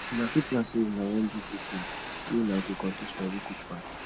una fit plan sey una wan do food game wey una go compete for who cook pass